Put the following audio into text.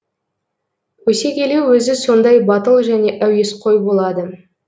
өсе келе өзі сондай батыл және әуесқой болады